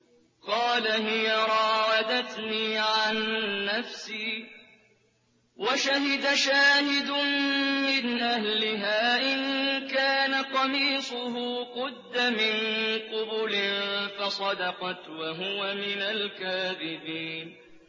قَالَ هِيَ رَاوَدَتْنِي عَن نَّفْسِي ۚ وَشَهِدَ شَاهِدٌ مِّنْ أَهْلِهَا إِن كَانَ قَمِيصُهُ قُدَّ مِن قُبُلٍ فَصَدَقَتْ وَهُوَ مِنَ الْكَاذِبِينَ